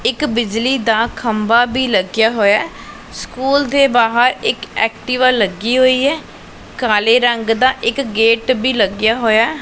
ਇੱਕ ਬਿਜਲੀ ਦਾ ਖੰਭਾ ਵੀ ਲੱਗਿਆ ਹੋਇਆ ਸਕੂਲ ਦੇ ਬਾਹਰ ਇੱਕ ਐਕਟੀਵਾ ਲੱਗੀ ਹੋਈ ਹੈ ਕਾਲੇ ਰੰਗ ਦਾ ਇੱਕ ਗੇਟ ਵੀ ਲੱਗਿਆ ਹੋਇਆ।